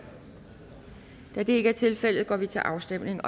da det ikke er tilfældet går vi til afstemning